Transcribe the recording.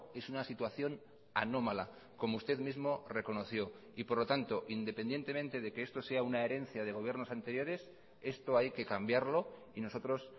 es una situación anómala como usted mismo reconoció y por lo tanto independientemente de que esto sea una herencia de gobiernos anteriores esto hay que cambiarlo y nosotros